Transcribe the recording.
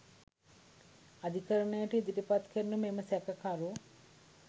අධිකරණයට ඉදිරිපත් කෙරුණු මෙම සැකකරු